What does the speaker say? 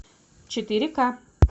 четыре ка